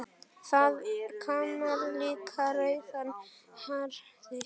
Þaðan kemur líklega rauða hárið.